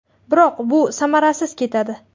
Biroq, bu samarasiz ketadi.